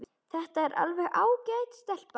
Þetta er alveg ágæt stelpa.